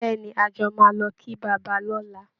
Bẹ́ẹ̀ ni, a jọ máa lọ kí bàbá lọ́la